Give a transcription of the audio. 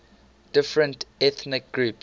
different ethnic groups